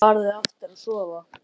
Farðu aftur að sofa.